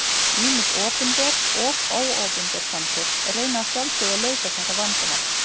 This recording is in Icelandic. Ýmis opinber og óopinber samtök reyna að sjálfsögðu að leysa þessu vandamál.